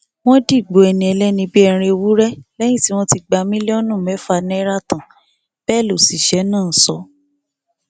wọn dìgbò ẹni ẹlẹni bíi ẹran ewúrẹ lẹyìn tí wọn ti gba mílíọnù mẹfà náírà tán bẹẹ lọṣiṣẹ náà sọ